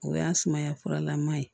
O y'a sumaya furalama ye